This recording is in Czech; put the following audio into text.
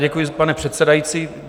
Děkuji, pane předsedající.